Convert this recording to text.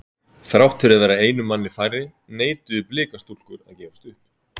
Þrátt fyrir að vera einum manni færri neituðu blika stúlkur að gefast upp.